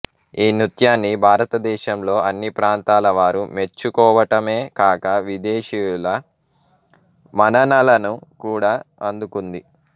ఈ నృత్యాన్ని భారత దేశంలో అన్ని ప్రాంతాల వారు మెచ్చు కోవటమే కాక విదేశీయుల మన్ననలను కూడ అందుకుంది